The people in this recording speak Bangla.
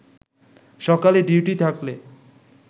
সকালে ডিউটি থাকলে